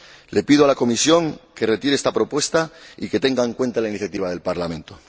Le pido a la Comisión que retire esta propuesta y que tenga en cuenta la iniciativa del Parlamento.